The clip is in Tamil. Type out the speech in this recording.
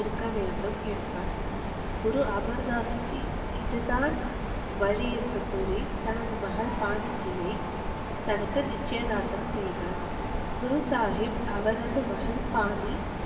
இருக்கவேண்டும் என்றான் குரு அமர்தாஸ்ஜி இதுதான் வழி என்று கூறி தனது மகள் பானிஜியை தனக்கு நிச்சயதார்த்தம் செய்தார் குரு சாகிப் அவரது மகள் பானி